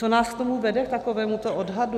Co nás k tomu vede, k takovémuto odhadu?